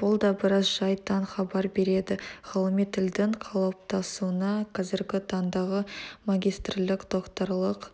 бұл да біраз жайттан хабар береді ғылыми тілдің қалыптасуына қазіргі таңдағы магистрлік докторлық